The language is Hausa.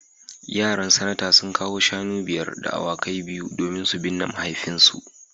Yaran Sanata sun kawo shanu biyar da awakai biyu domin su binne mahaifinsu